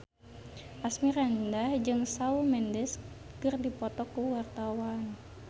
Asmirandah jeung Shawn Mendes keur dipoto ku wartawan